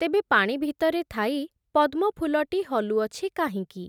ତେବେ ପାଣି ଭିତରେ ଥାଇ, ପଦ୍ମଫୁଲଟି ହଲୁଅଛି କାହିଁକି ।